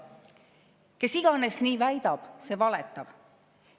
Kes iganes nii väidab, see valetab.